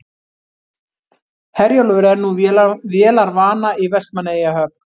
Herjólfur er nú vélarvana í Vestmannaeyjahöfn